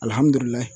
Alihamudulila